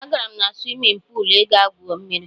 Ee, agara m na swimin puul ịga gwu mmiri.